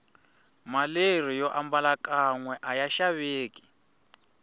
maleri yombala kanwe aya xaveki